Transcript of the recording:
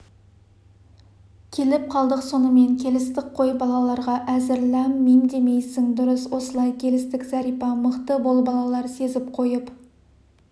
келіп қалдық сонымен келістік қой балаларға әзірләм-мимдемейсің дұрыс осылай келістік зәрипа мықты бол балалар сезіп қойып